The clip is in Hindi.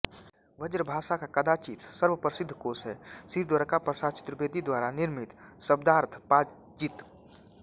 ब्रजभाषा का कदाचित् सर्वप्रसिद्ध कोश है श्री द्वाराकाप्रसाद चतुर्वेदी द्वारा निर्मित शब्दार्थपाजित